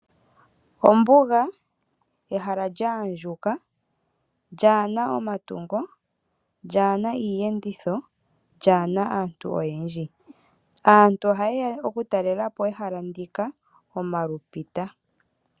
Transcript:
Ombuga, ehala lya andjuka, lyaa na omatungo lyaa na iiyenditho lyaa na aantu oyendji. Aantu oha ye ya oku talelapo ehala ndika omalupita.